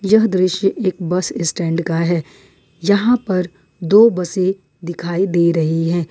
यह दृश्य एक बस स्टैंड का है यहां पर दो बसें दिखाई दे रही हैं।